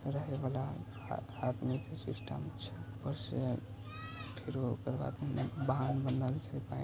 रहे वला आदमी के सिस्टम छै ऊपर से फेरो ओकर बाद बांध बनल छै पेन--